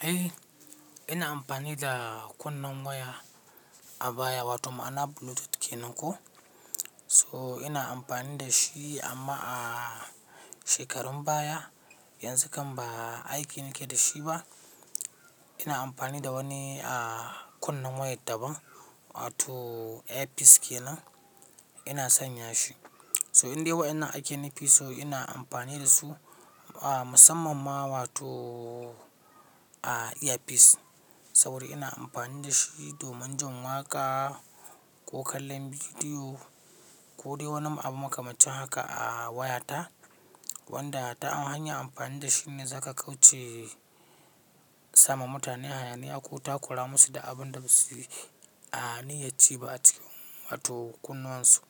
Eh, ina amfani da kunnen waya a baya wato mana Bluetooth kenan ko. So ina amfani da shi amma a shekarun baya. Yanzu kam ba aiki nake da shi ba. Ina amfani da wani kunnen wayad daban wato earpiece kenan. Ina sanya shi. So indelai wayannan ake nufi so ina amfani da su a musamman ma wato a earpiece. Saboda ina amfani da shi domin jin waƙa ko kallon bidiyo ko dai wani abu makamancin haka a wayata. Wanda ta hanyar amfani da shi ne za ka kauce sama mutane hayaniya ko takura musu da abun da ba su a niyya ci ba ace wato kunnuwan su.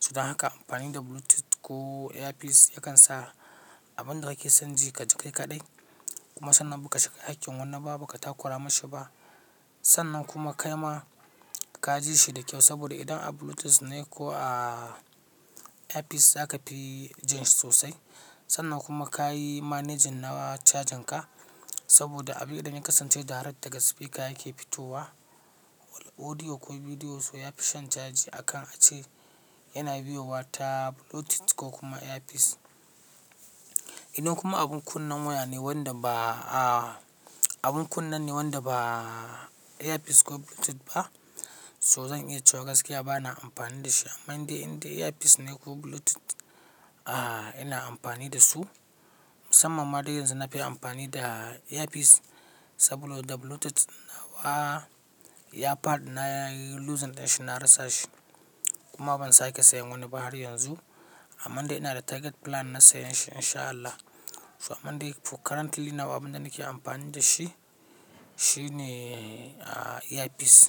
Saboda haka amfani da Bluetooth ko earpiece yakan sa abin da kake son ji ka ji kai kaɗai. Kuma sannan ba ka shiga hakkin wani ba, ba ka takura mashi ba. Sannan kuma kai ma ka ji shi da kyau saboda idan a Bluetooth ne ko a earpiece za ka fi jin shi sosai. Sannan kuma ka yi managing na cajin ka saboda abin da yake kasance direct daga speaker yake fitowa. Wal audio ko bidiyo so yafi shan caji akan ace yana biyuwa ta Bluetooth ko kuma earpiece. Ina kuma abun kunnen waya ne wanda ba abun kunnen ne wanda ba earpiece ko Bluetooth ba. So zan iya cewa gaskiya bana amfani da shi. Amman dai indai earpiece ne ko Bluetooth a ina amfani da su. Musamman ma dai yanzu na fi amfani da earpiece saboda Bluetooth nawa ya faɗi na yi losing ɗin shi na rasa shi. Kuma ban sake sayen wani ba har yanzu. Amman dai ina da target plan na sayan shi in sha Allah. So amman dai for currently nawa abin da nake amfani da shi, shi ne earpiece.